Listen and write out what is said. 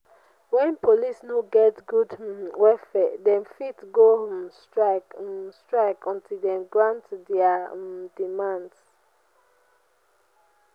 wen police no get good um welfare dem fit go um strike um strike until dem grant dia um demands.